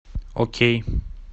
окей